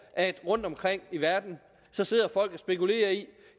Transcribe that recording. at der rundtomkring i verden sidder folk og spekulerer i